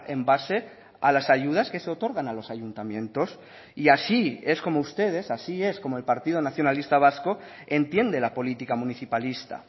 en base a las ayudas que se otorgan a los ayuntamientos y así es como ustedes así es como el partido nacionalista vasco entiende la política municipalista